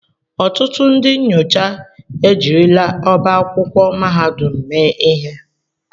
Ọtụtụ ndị nyocha ejirila ọba akwụkwọ mahadum mee ihe.